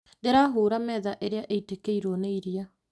Ndĩra hura metha ĩrĩa ĩitĩkĩirwo nĩ iria